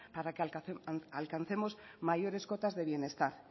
para que alcancemos mayores cotas de bienestar